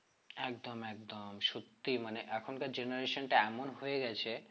একদম একদম সত্যি মানে এখনকার generation টা এমন হয়ে গেছে